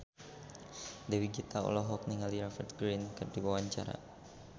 Dewi Gita olohok ningali Rupert Grin keur diwawancara